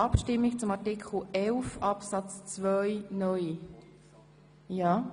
Abstimmung (Art. 11 Abs. 1, Antrag